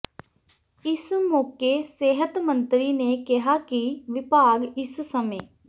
ਇਸ ਮੌਕੇ ਸਿਹਤ ਮੰਤਰੀ ਨੇ ਕਿਹਾ ਕਿ ਵਿਭਾਗ ਇਸ ਸਮੇਂ